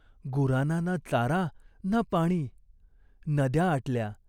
गुराना ना चारा ना पाणी. नद्या आटल्या.